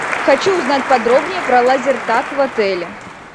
хочу узнать подробнее про лазертак в отеле